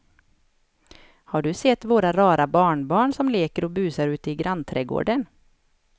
Har du sett våra rara barnbarn som leker och busar ute i grannträdgården!